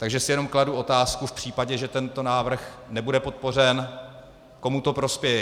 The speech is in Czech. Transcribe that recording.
Takže si jenom kladu otázku v případě, že tento návrh nebude podpořen, komu to prospěje.